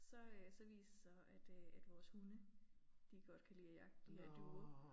Så øh så viste det sig at øh at vores hunde de godt kan lide at jagte de her duer